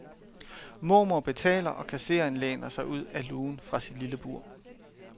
Mormor betaler og kassereren læner sig ud af lugen fra sit lille bur.